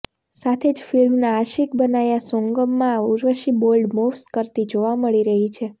સાથે જ ફિલ્મના આશિક બનાયા સોન્ગમાં ઉર્વશી બોલ્ડ મૂવ્સ કરતી જોવા મળી રહી છે